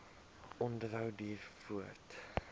onderhou duur voort